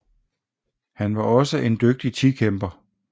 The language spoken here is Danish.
Han var også en dygtig tikæmper